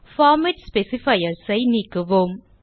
format specifiers ஐ நீக்குவோம்